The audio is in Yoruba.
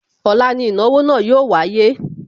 Ọ̀la ni ìnáwó náà yóò wáyé